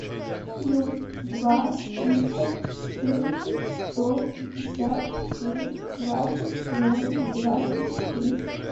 плюс два триста четырнадцать сто пятьдесят семь двадцать ноль двадцать три